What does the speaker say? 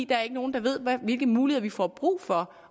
der er ikke nogen der ved hvilke muligheder vi får brug for